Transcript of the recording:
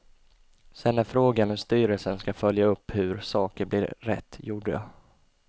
Sen är frågan hur styrelsen ska följa upp hur saker blir rätt gjorda.